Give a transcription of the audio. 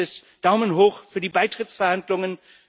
Dann heißt es Daumen hoch für die Beitrittsverhandlungen.